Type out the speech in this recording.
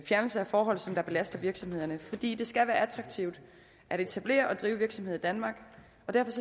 fjernelse af forhold som belaster virksomhederne fordi det skal være attraktivt at etablere og drive virksomhed i danmark og derfor